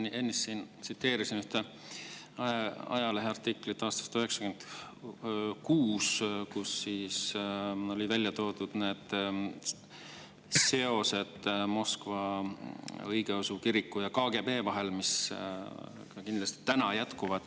Ma ennist tsiteerisin ühte ajaleheartiklit aastast 1996, kus olid ära toodud seosed Moskva õigeusu kiriku ja KGB vahel, mis kindlasti ka praegu jätkuvad.